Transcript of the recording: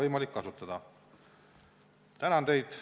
Tänan teid!